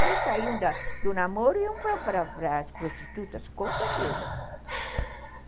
Eles saíam do namoro e iam para para para as prostitutas, com certeza.